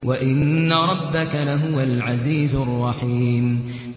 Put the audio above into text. وَإِنَّ رَبَّكَ لَهُوَ الْعَزِيزُ الرَّحِيمُ